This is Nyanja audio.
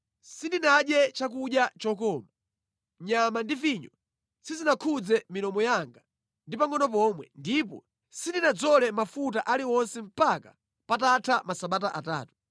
Sindinadye chakudya chokoma; nyama ndi vinyo sizinakhudze milomo yanga ndi pangʼono pomwe; ndipo sindinadzole mafuta aliwonse mpaka patatha masabata atatu.